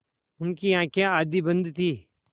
उनकी आँखें आधी बंद थीं